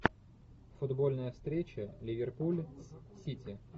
футбольная встреча ливерпуль с сити